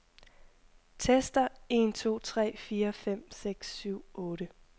Tester en to tre fire fem seks syv otte.